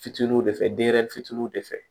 Fitininw de fɛ denyɛrɛnin fitiininw de fɛ